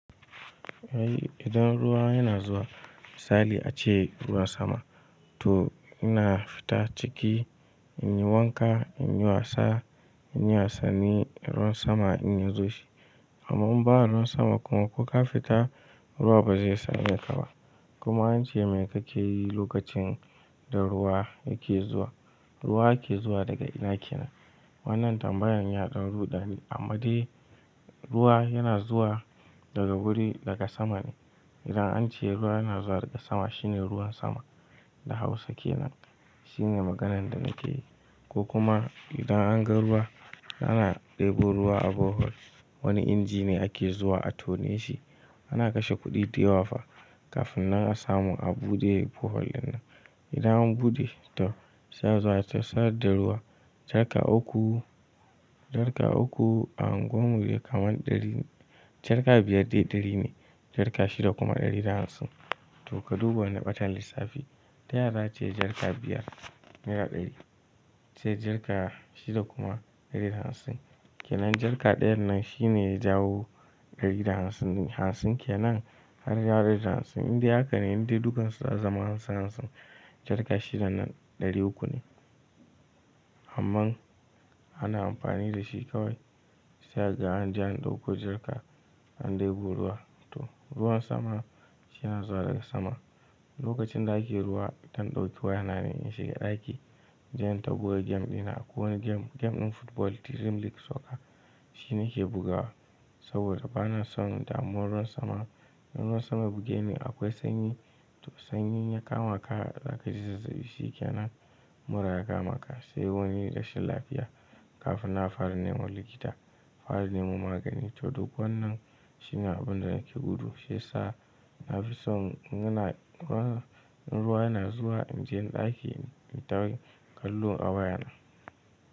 Eh idan ruwa yana zuwa, misali ace ruwan sama to ina fita ciki in yi wanka, in yi wasa, in yi wasanni in ruwan sama in yi zo shi. Amma in ba ruwan sama kuma koka fita ruwa ba zai same ka ba. Kuma ance me kake yi lokacin da ruwa yake zuwa? Ruwa ke zuwa daga ina kenan? Wannan tambayan yaron ruɗa ne amma dai, ruwa yana zuwa daga wuri daga sama ne. Idan an ce ruwa yana zuwa daga sama shine ruwan sama da Hausa kenan. Shine maganan da nake yi, ko kuma idan an ga ruwa ana ɗebo ruwa a bohol wani inji ne ake zuwa a tone shi ana kashe kuɗi da yawa fa kafinnan a samu a buɗe bohol dinnan. Idan an buɗe to sai zo ta sayar da ruwa jarka uku jarka uku a unguwar mu dai kamar ɗari jarka biyar dai ɗari ne jarka shida kuma ɗari da hamsin to ka duba wani ɓatan lissafi. Ta yaya za ce jarka biyar naira ɗari ace jarka shida kuma ɗari da hamsin? Kenan jarka ɗayan nan shine ya jawo ɗari da hamsin hamsin kenan har ya jawo ɗari da hamsin inda haka ne inda dukansu da zama hamsin hamsin jarka shida nan ɗari uku ne. Amma ana amfani da shi kawai sai ga an jan ɗauko jarka an ɗebo ruwa to ruwan sama shine zuwa daga sama. Lokacin da ake ruwa zan ɗauki waya nane in shiga ɗaki sai in taɓo gyam ɗina akwai wani gyam gyam ɗin football dream league soccer shine ke bugawa saboda bana son damuwar ruwan sama. Ruwan sama buge ni akwai sanyi to sanyi ya kama ka za ka ji zazzaɓi shi kenan mura ya kama ka sai wani ya yi rashin lafiya kafinnan afara nemo likita fara nemo magani to duk wannan shine abunda nake gudu, shiyasa na fi son in ruwa yana zuwa in je ɗaki in ta ƙallo a waya na.